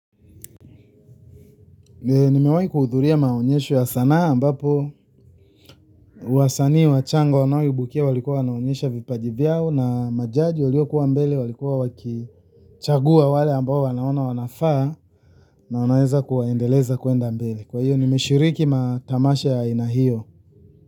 Nimewahi kuhudhuria maonyesho ya sanaa ambapo wasanii wachanga wanaoibukia walikuwa wanaonyesha vipaji vyao na majaji waliokuwa mbele walikuwa wakichagua wale ambao wanaona wanafaa na wanaweza kuwaendeleza kuenda mbele kwa hiyo nimeshiriki matamasha ya aina hiyo.